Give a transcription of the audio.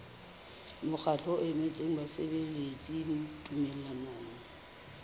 mokgatlo o emetseng basebeletsi tumellanong